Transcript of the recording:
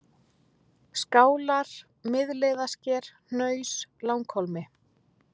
Skálar, Miðleiðarsker, Hnaus, Langhólmi